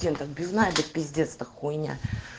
тем так без на это пиздец это хуйня